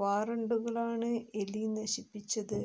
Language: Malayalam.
വാറണ്ടുകളാണ് എലി നശിപ്പിച്ചത്